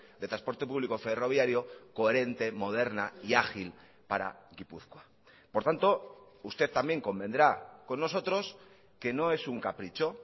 de transporte público ferroviario coherente moderna y ágil para gipuzkoa por tanto usted también convendrá con nosotros que no es un capricho